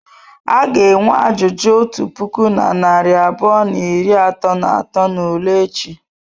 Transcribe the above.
A ga-enwe ajụjụ otu puku na narị abụọ na iri atọ na atọ n'ule echi.